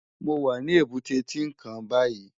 Mó wá ni ébùté Tinkán bàyí